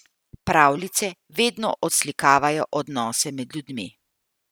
Pravljice vedno odslikavajo odnose med ljudmi.